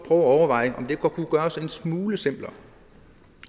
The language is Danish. at overveje om det kunne gøres en smule simplere